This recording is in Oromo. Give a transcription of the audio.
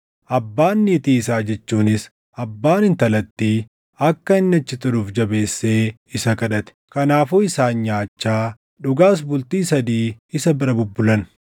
Abbaan niitii isaa jechuunis, abbaan intalattii akka inni achi turuuf jabeessee isa kadhate; kanaafuu isaan nyaachaa, dhugaas bultii sadii isa bira bubbulan.